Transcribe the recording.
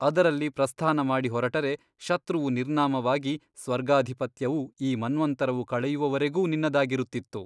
ಅದರಲ್ಲಿ ಪ್ರಸ್ಥಾನ ಮಾಡಿಹೊರಟರೆ ಶತ್ರುವು ನಿರ್ನಾಮವಾಗಿ ಸ್ವರ್ಗಾಧಿಪತ್ಯವು ಈ ಮನ್ವಂತರವು ಕಳೆಯುವವರೆಗೂ ನಿನ್ನದಾಗಿರುತ್ತಿತ್ತು.